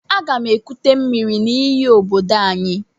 Aga m ekute miri n'íyí obodo anyị.